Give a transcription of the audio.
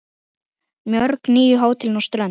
Mörg nýju hótelin á strönd